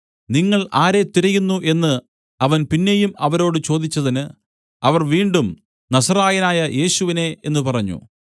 നിങ്ങൾ ആരെ തിരയുന്നു എന്നു അവൻ പിന്നെയും അവരോട് ചോദിച്ചതിന് അവർ വീണ്ടും നസറായനായ യേശുവിനെ എന്നു പറഞ്ഞു